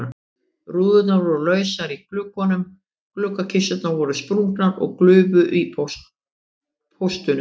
Rúðurnar voru lausar í gluggunum, gluggakisturnar voru sprungnar og glufur í póstunum.